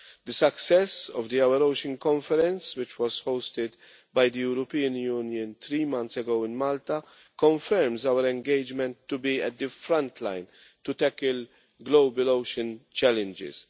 The success of the Our Ocean Conference', which was hosted by the European Union three months ago in Malta, confirms our engagement to be at the frontline to tackle global ocean challenges.